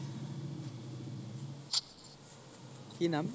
কি নাম ?